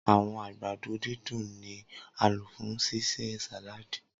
Awọn agbado didùn ni a lo fun ṣiṣe sàláàdì.